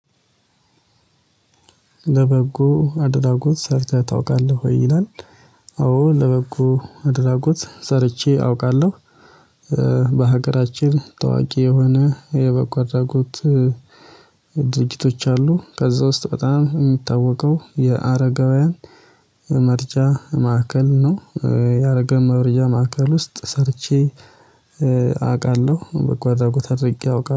ለበጎ አድራጎት ሰርተህ ታውቃለህ? ይላል አዎ ለበጎ አድራጎት ሰርቼ አውቃለው። በሀገራችን ታዋቂ የሆነ የበጎ አድራጎት ድርጅቶች አሉ። ከዛ ውስጥ በጣም የሚታወቀው የአረጋውያን መርጃ ማዕከል ነው። የአረጋውያን መርጃ ማዕከል ውስጥ ሰርቼ አቃለው በጎ አድራጎት አድርጌ አውቃ